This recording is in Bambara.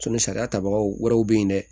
sariya tabaga wɛrɛw bɛ yen dɛ